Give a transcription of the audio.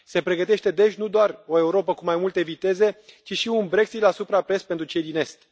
Se pregătește, deci, nu doar o Europă cu mai multe viteze, ci și un Brexit la suprapreț pentru cei din est.